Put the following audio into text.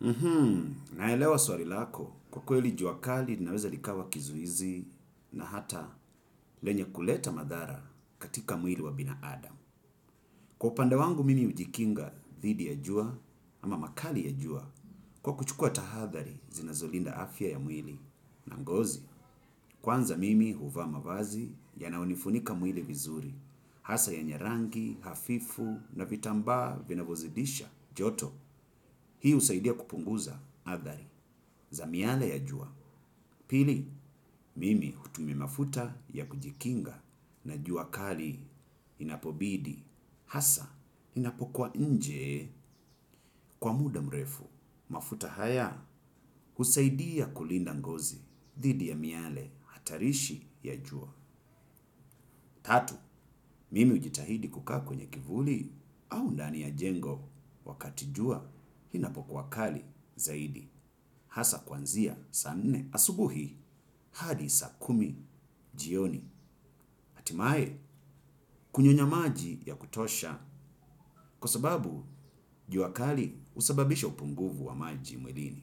Mhmm, naelewa swali lako kwa kweli jua kali linaweza likawa kizuizi na hata lenye kuleta madhara katika mwili wa binadamu. Kwa upande wangu mimi hujikinga dhidi ya jua ama makali ya jua kwa kuchukuwa tahadhari zinazolinda afya ya mwili na ngozi kwanza mimi huvaa mavazi yanayonifunika mwili vizuri, hasa yenye rangi hafifu na vitambaa vinavyozidisha joto. Hii husaidia kupunguza athari za miale ya jua. Pili, mimi hutumia mafuta ya kujikinga na jua kali inapobidi. Hasa, inapokuwa nje kwa muda mrefu. Mafuta haya, husaidia kulinda ngozi dhidi ya miale hatarishi ya jua tatu, mimi hujitahidi kukaa kwenye kivuli au ndani ya jengo wakati jua inapokuwa kali zaidi hasa kwanzia saa nne asubuhi hadi saa kumi jioni. Hatimae kunyonya maji ya kutosha kwa sababu jua kali husababisha upungufu wa maji mwilini.